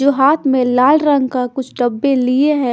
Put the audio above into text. जो हाथ में लाल रंग का कुछ डब्बे लिए हैं।